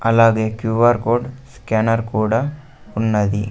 అలాగే Q R code scanner కూడా ఉన్నది.